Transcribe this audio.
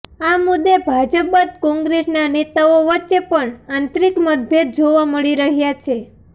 આ મુદ્દે ભાજપ બાદ કોંગ્રેસનાં નેતાઓ વચ્ચે પણ આંતરિક મતભેદ જોવા મળી રહ્યા છે